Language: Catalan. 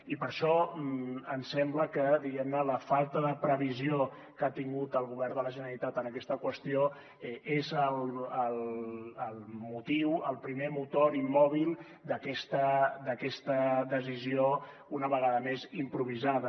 i per això ens sembla que diguem ne la falta de previsió que ha tingut el govern de la generalitat en aquesta qüestió és el motiu el primer motor i mòbil d’aquesta decisió una vegada més improvisada